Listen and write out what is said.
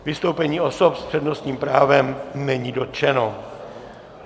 Vystoupení osob s přednostním právem není dotčeno.